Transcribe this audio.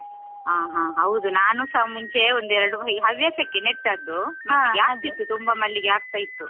ಆ ಹ ಹ ಹೌದು. ನಾನುಸ ಮುಂಚೆ ಒಂದ್ ಎರಡು ಈ ಹವ್ಯಾಸಕ್ಕೆ ನೆಟ್ಟದ್ದು ಜಾಸ್ತಿ ಇತ್ತು, ತುಂಬ ಮಲ್ಲಿಗೆ ಆಗ್ತಾ ಇತ್ತು.